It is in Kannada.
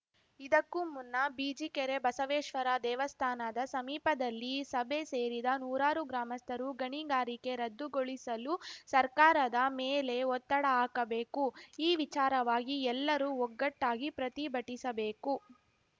ಇದಕ್ಕೂ ಮುನ್ನ ಬಿಜಿಕೆರೆ ಬಸವೇಶ್ವರ ದೇವಸ್ಥಾನದ ಸಮೀಪದಲ್ಲಿ ಸಭೆ ಸೇರಿದ ನೂರಾರು ಗ್ರಾಮಸ್ಥರು ಗಣಿಗಾರಿಕೆ ರದ್ದುಗೊಳಿಸಲು ಸರ್ಕಾರದ ಮೇಲೆ ಒತ್ತಡ ಹಾಕಬೇಕು ಈ ವಿಚಾರವಾಗಿ ಎಲ್ಲರೂ ಒಗ್ಗಟ್ಟಾಗಿ ಪ್ರತಿಭಟಿಸಬೇಕು